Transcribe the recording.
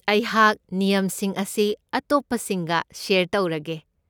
ꯑꯩꯍꯥꯛ ꯅꯤꯌꯝꯁꯤꯡ ꯑꯁꯤ ꯑꯇꯣꯞꯄꯁꯤꯡꯒ ꯁꯦꯌꯔ ꯇꯧꯔꯒꯦ꯫